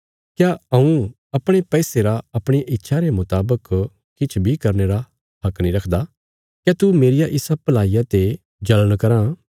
क्या हऊँ अपणे पैसे रा अपणिया इच्छा रे मुतावक किछ बी करने रा हक नीं रखदा क्या तू मेरिया इसा भलाईया ते जल़ण कराँ